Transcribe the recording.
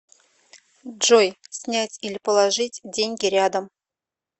джой снять или положить деньги рядом